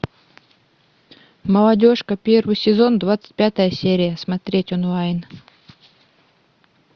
молодежка первый сезон двадцать пятая серия смотреть онлайн